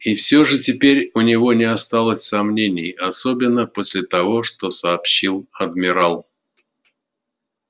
и всё же теперь у него не осталось сомнений особенно после того что сообщил адмирал